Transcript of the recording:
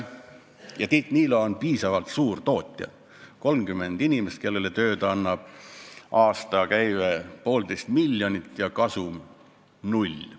Ja Tiit Niilo on piisavalt suur tootja: ta annab tööd 30 inimesele, ta aastakäive on 1,5 miljonit, aga kasum on null.